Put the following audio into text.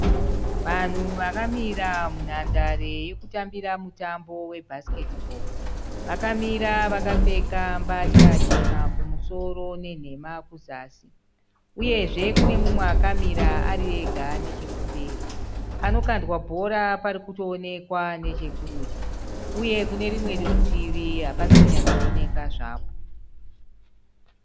Vanhu vakamira munhandare yekutambira mutambo bhasiketi bhoo. Vakamira vakapfeka mbatya chena kumusoro nenhema kuzasi. Uyezve kune mumwe akamira ariega nechekumberi. Panokandwa bhora parikutooonekwa nechekurudyi , uye kune rumwe rutivi hapasi kunyatsoonekwa zvapo.